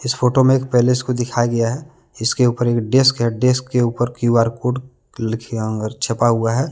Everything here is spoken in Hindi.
इस फोटो में एक पैलेस को दिखाया गया है। इसके ऊपर एक डेस्क है। डेस्क के ऊपर क्यू_आर कोड लिखया और छपा हुआ है।